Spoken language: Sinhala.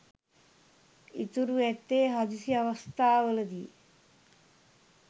ඉතුරු ඇත්තේ හදිසි අවස්ථාවලදී